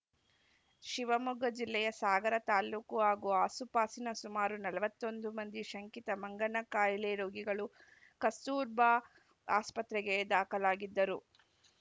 ಶಿವಮೊಗ್ಗ ಜಿಲ್ಲೆಯ ಸಾಗರ ತಾಲೂಕು ಹಾಗೂ ಆಸುಪಾಸಿನ ಸುಮಾರು ನಲವತ್ತ್ ಒಂದು ಮಂದಿ ಶಂಕಿತ ಮಂಗನ ಕಾಯಿಲೆ ರೋಗಿಗಳು ಕಸ್ತೂರ್ಬಾ ಆಸ್ಪತ್ರೆಗೆ ದಾಖಲಾಗಿದ್ದರು